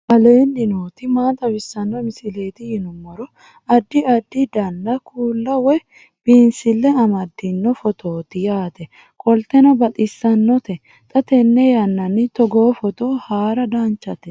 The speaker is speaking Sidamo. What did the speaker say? aleenni nooti maa xawisanno misileeti yinummoro addi addi dananna kuula woy biinsille amaddino footooti yaate qoltenno baxissannote xa tenne yannanni togoo footo haara danvchate